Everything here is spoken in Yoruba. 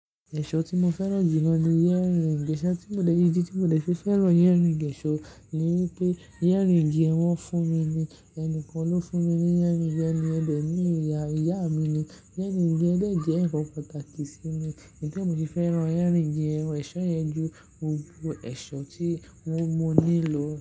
Ẹ̀ṣọ́ tí mo fẹ́ràn jù lọ ni yẹ́rìì òǹgèṣà. Tí mo le yi dí tí mo lè ṣe fẹ́ràn yẹ́rìì òǹgèṣà ni wípé yẹ́rìì igi ẹ̀wọ̀n fún mi ni ẹni kan ló fún mi ní yẹ́rìì yẹn ni Ẹdẹ ni ìyá ìyá mi ni. Yẹ́rìì igi Ẹdẹ jẹ́ nǹkan pàtàkì sí mi. Nítòrí e mo ti fẹ́ràn earring yen oun ẹ̀ṣọ́ yẹn ju gbogbo ẹ̀ṣọ́ tí mo mo nílò.